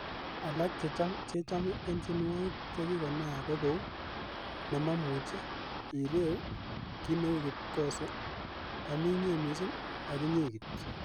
Alak chechome en tienwogik che kinaak ko kou,'Nemomuche, ireu, Kit neu kipkose, Ami inye missing ak inye kityok.